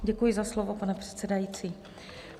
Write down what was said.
Děkuji za slovo, pane předsedající.